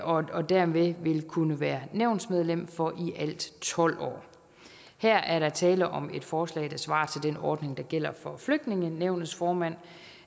og dermed vil kunne være nævnsmedlem for i alt tolv år her er der tale om et forslag der svarer til den ordning der gælder for flygtningenævnets formand